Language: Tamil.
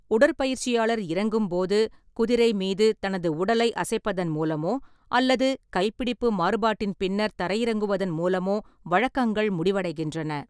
உடற்பயிற்சியாளர் இறங்கும்போது, குதிரை மீது தனது உடலை அசைப்பதன் மூலமோ அல்லது கைப்பிடிப்பு மாறுபாட்டின் பின்னர் தரையிறங்குவதன் மூலமோ வழக்கங்கள் முடிவடைகின்றன.